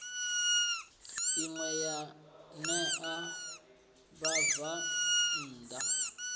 ine ya ṋea vhabvann ḓa